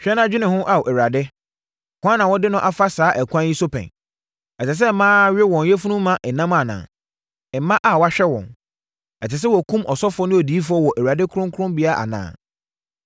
“Hwɛ na dwene ho, Ao, Awurade: Hwan na wode no afa saa ɛkwan yi so pɛn? Ɛsɛ sɛ mmaa we wɔn yafunu mma nam anaa, mma a wɔahwɛ wɔn? Ɛsɛ sɛ wɔkum ɔsɔfoɔ ne odiyifoɔ wɔ Awurade kronkronbea anaa?